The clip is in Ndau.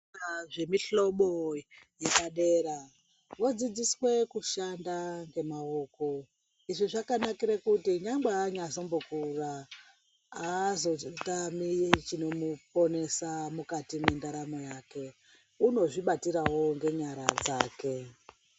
Zvikora zvemihlobo yepadera vodzidziswe kushanda nemaoko. Izvi zvakanakire kuti nyangwe anyazombokura aazotami chinomuponesa mukati mwendaramo yake. Unozvibatirawo ngenyara dzake.